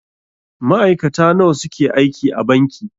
Ma'aikata nawa suke aiki a banki.